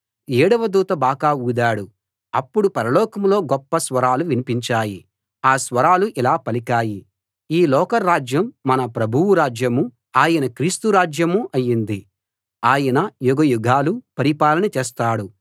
ఏడవ దూత బాకా ఊదాడు అప్పుడు పరలోకంలో గొప్ప స్వరాలు వినిపించాయి ఆ స్వరాలు ఇలా పలికాయి ఈ లోక రాజ్యం మన ప్రభువు రాజ్యమూ ఆయన క్రీస్తు రాజ్యమూ అయింది ఆయన యుగయుగాలు పరిపాలన చేస్తాడు